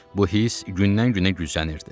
Bu hiss gündən-günə güclənirdi.